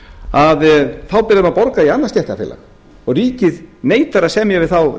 að þá ber þeim að borga í annað stéttarfélag og ríkið neitar að semja við þá